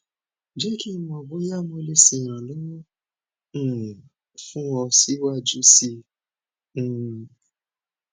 jẹ ki n mọ boya mo le ṣe iranlọwọ um fun ọ siwaju sii um